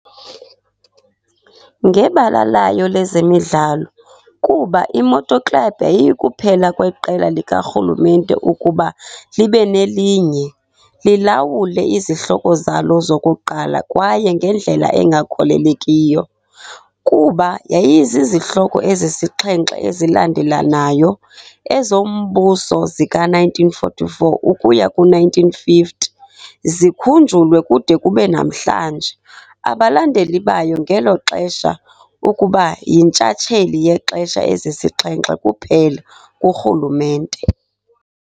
Ngebala layo lezemidlalo, kuba i-Moto Club yayikuphela kweqela likarhulumente ukuba libe nelinye, lilawule izihloko zalo zokuqala kwaye ngendlela engakholelekiyo, kuba yayizizihloko ezisixhenxe ezilandelelanayo, ezombuso zika-1944 ukuya ku-1950, zikhunjulwe kude kube namhlanje. abalandeli bayo ngelo xesha, Ukuba yintshatsheli yexesha ezisixhenxe kuphela kurhulumente.